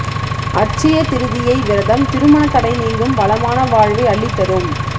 அட்சய திருதியை விரதம் திருமண தடை நீங்கும் வளமான வாழ்வை அள்ளித் தரும்